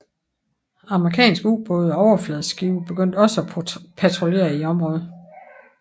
Amerikanske ubåde og overfladeskibe begyndte også at patruljere i området